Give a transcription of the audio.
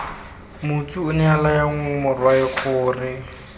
motsu onea laya morwae gore